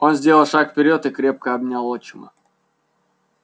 он сделал шаг вперёд и крепко обнял отчима